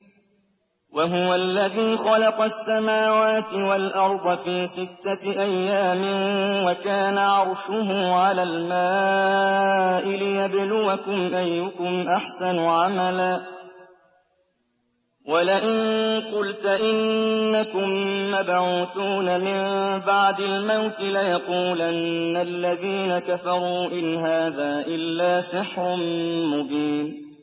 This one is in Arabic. وَهُوَ الَّذِي خَلَقَ السَّمَاوَاتِ وَالْأَرْضَ فِي سِتَّةِ أَيَّامٍ وَكَانَ عَرْشُهُ عَلَى الْمَاءِ لِيَبْلُوَكُمْ أَيُّكُمْ أَحْسَنُ عَمَلًا ۗ وَلَئِن قُلْتَ إِنَّكُم مَّبْعُوثُونَ مِن بَعْدِ الْمَوْتِ لَيَقُولَنَّ الَّذِينَ كَفَرُوا إِنْ هَٰذَا إِلَّا سِحْرٌ مُّبِينٌ